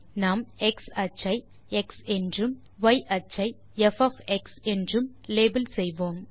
நாம் x அச்சை X என்றும் y அச்சை ப் என்றும் லேபல் செய்வோம்